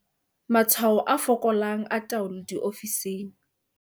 Matshwao a fokolang a taolo diofising.